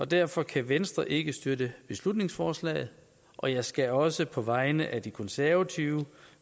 derfor kan venstre ikke støtte beslutningsforslaget og jeg skal også på vegne af de konservative